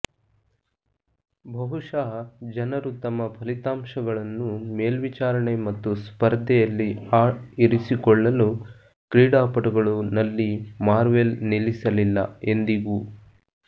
ಬಹುಶಃ ಜನರು ತಮ್ಮ ಫಲಿತಾಂಶಗಳನ್ನು ಮೇಲ್ವಿಚಾರಣೆ ಮತ್ತು ಸ್ಪರ್ಧೆಯಲ್ಲಿ ಆ ಇರಿಸಿಕೊಳ್ಳಲು ಕ್ರೀಡಾಪಟುಗಳು ನಲ್ಲಿ ಮಾರ್ವೆಲ್ ನಿಲ್ಲಿಸಲಿಲ್ಲ ಎಂದಿಗೂ